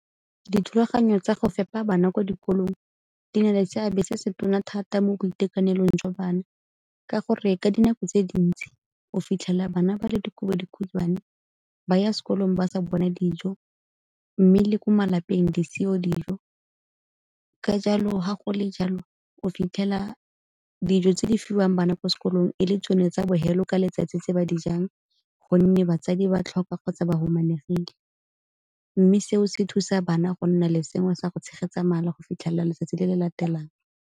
Dithulaganyo tsa go fepa bana ko dikolong di na le seabe se se tona thata mo boitekanelong jwa bana ka gore ka dinako tse dintsi o fitlhela bana ba le dikobodikhutshwane, ba ya sekolong ba sa bone dijo mme le ko malapeng di seo dijo. Ka jalo ga go le jalo o fitlhela dijo tse di fiwang bana ko sekolong e le tsone tsa bohelo ka letsatsi tse ba di jang gonne batsadi ba tlhoka kgotsa ba humanegile. Mme seo se thusa bana go nna le sengwe sa go tshegetsa mala go fitlhelela letsatsi le le latelang.